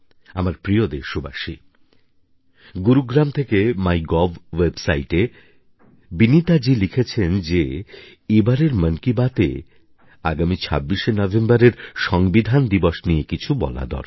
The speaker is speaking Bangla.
আমার প্রিয় দেশবাসী গুরুগ্রাম থেকে মাই গভ ওয়েবসাইটে বিনীতাজী লিখেছেন যে এবারের মন কি বাতএ আগামী ২৬শে নভেম্বরের সংবিধান দিবস নিয়ে কিছু বলা দরকার